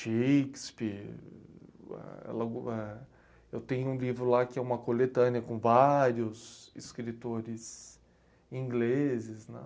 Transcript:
Shakespeare, elambu... Eu tenho um livro lá que é uma coletânea com vários escritores ingleses, né?